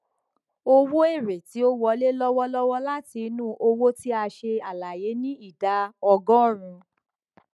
owó èèrè tí ó wọlé lọwọlọwọ láti inú òwò tí a ṣe àlàyé ní ìdá ọgọrùn